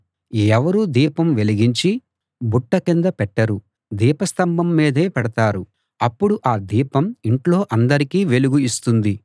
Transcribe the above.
ఎవరూ దీపం వెలిగించి బుట్ట కింద పెట్టరు దీపస్తంభం మీదే పెడతారు అప్పుడు ఆ దీపం ఇంట్లో అందరికీ వెలుగు ఇస్తుంది